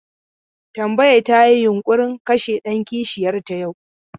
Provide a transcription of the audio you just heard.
Tambaya ta yi yunƙurin kashe ɗan kishiyar ta yau.